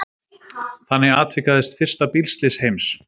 Þannig atvikaðist fyrsta bílslys heims.